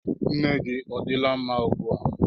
Nne gị odila mma ugbu a?